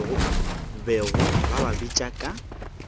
bego ba ba bitša ka